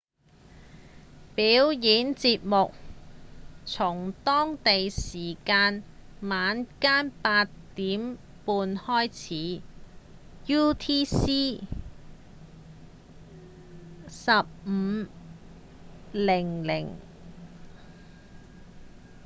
表演節目從當地時間晚間8點半開始 utc 15:00